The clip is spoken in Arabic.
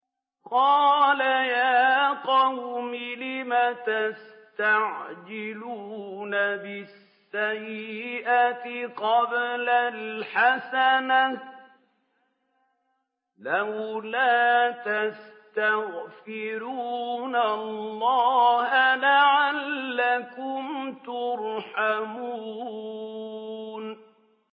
قَالَ يَا قَوْمِ لِمَ تَسْتَعْجِلُونَ بِالسَّيِّئَةِ قَبْلَ الْحَسَنَةِ ۖ لَوْلَا تَسْتَغْفِرُونَ اللَّهَ لَعَلَّكُمْ تُرْحَمُونَ